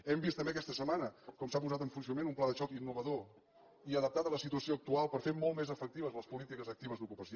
hem vist també aquesta setmana com s’ha posat en funcionament un pla de xoc innovador i adaptat a la situació actual per fer molt més efectives les polítiques actives d’ocupació